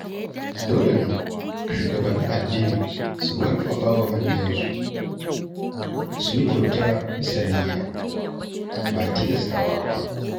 Dole ne shugabannin addini su karfafa wa mabiya su yi kyauta bisa niyya, ba tilastawa ba.